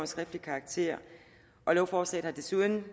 skriftlig karakter lovforslaget har desuden